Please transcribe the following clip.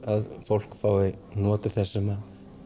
að fólk fái notið þess sem